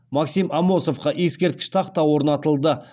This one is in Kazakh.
максим амосовқа ескерткіш тақта орнатылды